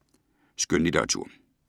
Skønlitteratur